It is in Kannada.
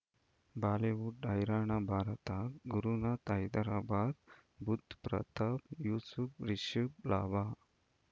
ಬಾಲಿವುಡ್ ಹೈರಾಣ ಭಾರತ ಗುರುನಾಥ ಹೈದರಾಬಾದ್ ಬುಧ್ ಪ್ರತಾಪ್ ಯೂಸುಫ್ ರಿಷಬ್ ಲಾಭ